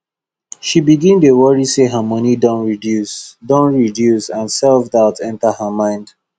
she begin dey worry say her money don reduce don reduce and selfdoubt enter her mind